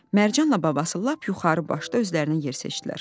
Mərcanla babası lap yuxarı başda özlərinə yer seçdilər.